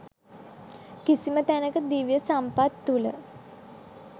කිසිම තැනක දිව්‍ය සම්පත් තුළ